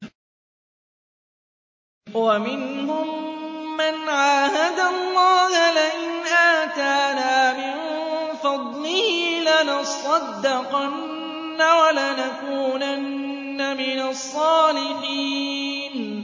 ۞ وَمِنْهُم مَّنْ عَاهَدَ اللَّهَ لَئِنْ آتَانَا مِن فَضْلِهِ لَنَصَّدَّقَنَّ وَلَنَكُونَنَّ مِنَ الصَّالِحِينَ